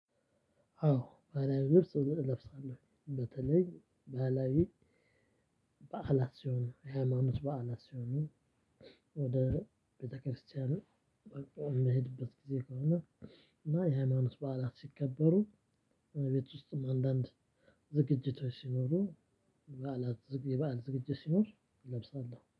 አዎ ባላዊ ልብስ እለብሳለሁ በተለይ ባላዊ በዓላት ሲሆን የሃይማኖት በዓላት ሲሆኑ ወደ ቤተክርስቲያን የምሄድበት ጊዜ ከሆነ እና የሃይማኖት በዓላት ሲከበሩ እቤት ውስጥም አንዳንድ ዝግጅቶች ሲኖሩ የባል ዝግጅት ሲኖር እለብሳለሁ